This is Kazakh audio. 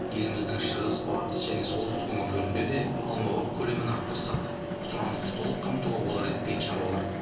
еліміздің шығыс батыс және солтүстік өңірлерінде де алмабақ көлемін арттырсақ сұранысты толық қамтуға болар еді дейді шаруалар